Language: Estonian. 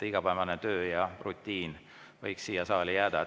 Igapäevane töö ja rutiin võiks siia saali jääda.